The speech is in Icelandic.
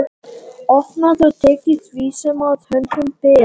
Opnað og tekið því sem að höndum ber.